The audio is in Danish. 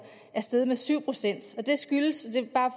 er steget med syv procent det skyldes